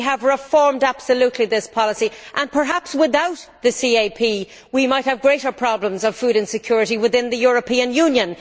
we have reformed absolutely this policy and perhaps without the CAP, we might have greater problems of food insecurity within the European Union.